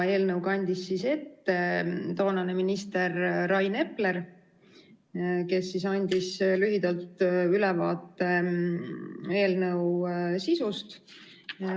Eelnõu kandis ette toonane minister Rain Epler, kes andis lühidalt ülevaate eelnõu sisust.